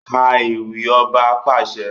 Ká ewì! Ọba pàṣẹ!